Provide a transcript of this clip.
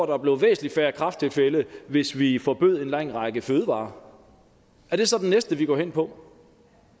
der blev væsentlig færre kræfttilfælde hvis vi forbød en lang række fødevarer er det så det næste vi går hen på